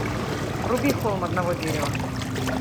вруби холм одного дерева